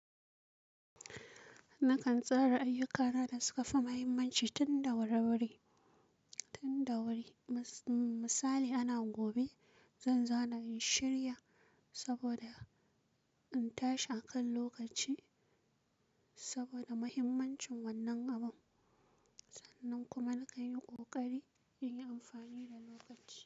Nakan tsara ayyuka na da suka fi muhimmanci tun da wuri wuri, tun da wuri. Misali ana gobe zan zauna in shirya Saboda in tashi a kan lokaci saboda muhimmancin wannan abun. Sannan kuma nakan yi ƙoƙari in yi amfani da lokaci.